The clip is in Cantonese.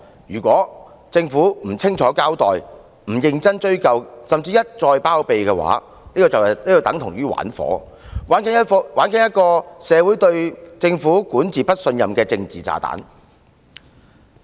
如果政府不清楚交代，不認真追究，甚至一再包庇，便等同玩火，玩一個令社會不信任政府管治的政治炸彈。